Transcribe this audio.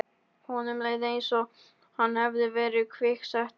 Honum leið einsog hann hefði verið kviksettur.